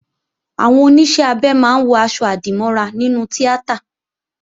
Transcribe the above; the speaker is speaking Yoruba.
Àwọn Oníṣẹ́-abẹ máa ń wọ̀ aṣọ-àdìmọ́ra nínú tíátà